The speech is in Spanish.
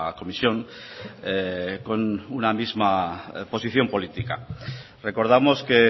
comisión con una misma posición política recordamos que